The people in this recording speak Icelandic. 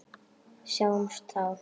Sjáumst þá.